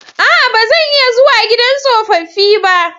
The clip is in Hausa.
A'a! Ba zan iya zuwa gidan tsofaffi ba.